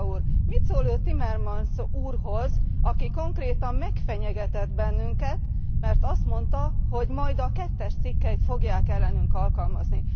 Pittella Úr, mit szól Ön Timmermans úrhoz, aki konkrétan megfenyegetett bennünket, mert azt mondta, hogy majd a kettes cikkelyt fogják ellenünk alkalmazni.